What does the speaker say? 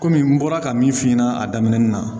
Kɔmi n bɔra ka min f'i ɲɛna a daminɛ na